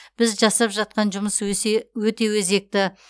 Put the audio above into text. біз жасап жатқан жұмыс өсе өте өзекті